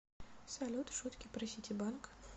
салют шутки про ситибанк